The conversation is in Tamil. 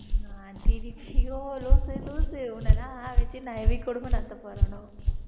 லூசு லூசு உன்னை எல்லாம் வச்சுட்டு நான் எப்படி குடும்பம் நடத்தப்போறேனோ